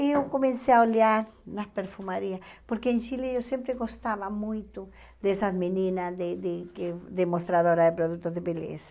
E eu comecei a olhar nas perfumarias, porque em Chile eu sempre gostava muito dessas meninas de de de demonstradoras de produtos de beleza.